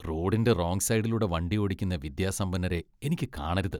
റോഡിന്റെ റോംഗ് സൈഡിലൂടെ വണ്ടി ഓടിക്കുന്ന വിദ്യാസമ്പന്നരെ എനിക്ക് കാണരുത്.